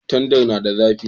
Tandar na da zafi